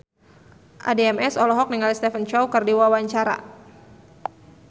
Addie MS olohok ningali Stephen Chow keur diwawancara